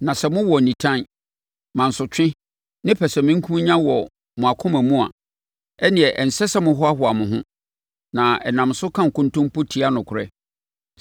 Na sɛ mowɔ nitan, mansotwe ne pɛsɛmenkomenya wɔ mo akoma mu a, ɛnneɛ ɛnsɛ sɛ mohoahoa mo ho, na nam so ka nkontompo tia nokorɛ.